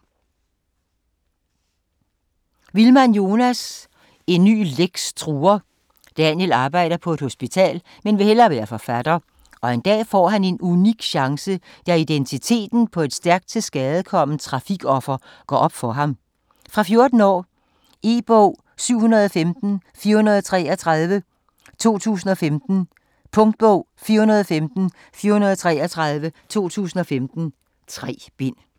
Wilmann, Jonas: En ny Lex truer Daniel arbejder på et hospital, men vil hellere være forfatter, og en dag får en han unik chance, da identiteten på et stærkt tilskadekomment trafikoffer går op for ham. Fra 14 år. E-bog 715433 2015. Punktbog 415433 2015. 3 bind.